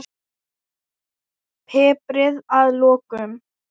Piprið að lokum.